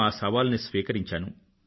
ఆ సవాలుని స్వీకరించాను